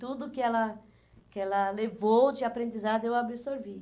Tudo que ela que ela levou de aprendizado, eu absorvi.